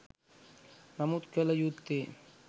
නමුත් කළ යුත්තේ